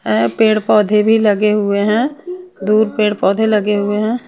और पेड़-पौधे भी लगे हुए हैं दूर पेड़-पौधे लगे हुए हैं।